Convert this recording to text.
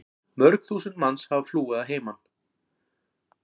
Mörg þúsund manns hafa flúið að heiman.